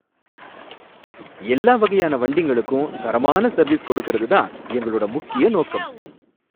எல்லா வகையான வண்டிங்களுக்கும் தரமான சர்வீஸ் கொடுக்குறது தான் எங்களோட முக்கிய நோக்கம்.